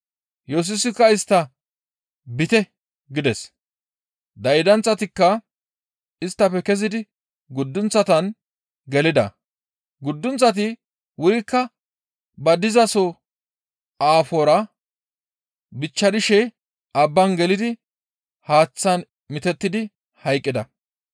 Yesusikka istta, «Biite!» gides. Daydanththatikka isttafe kezidi guddunththatan gelida. Guddunththati wurikka ba dizaso aafora bichcharishe abban gelidi haaththan mitetti hayqqida.